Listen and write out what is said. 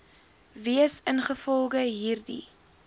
wees ingevolge hierdie